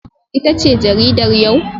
Ita ce jaridar yau?